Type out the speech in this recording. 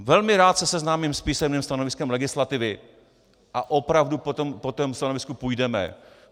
Velmi rád se seznámím s písemným stanoviskem legislativy a opravdu po tom stanovisku půjdeme.